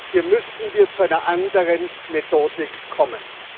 Hier müssen wir zu einer anderen Methodik kommen.